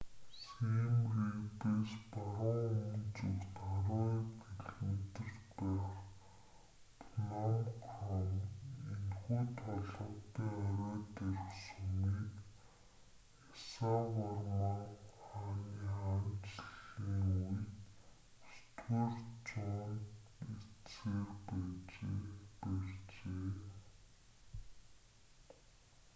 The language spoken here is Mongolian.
сием рийпээс баруун өмнө зүгт 12 км-т байх пном кром энэхүү толгодын орой дээрх сүмийг ясаварман хааны хаанчлалын үед 9-р зуунц эцсээр барьжээ